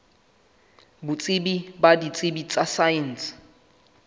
botsebi ba ditsebi tsa saense